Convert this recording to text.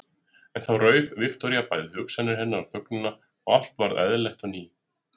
En þá rauf Viktoría bæði hugsanir hennar og þögnina og allt varð eðlilegt á ný.